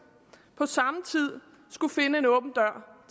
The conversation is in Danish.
på samme tid skulle finde en åben dør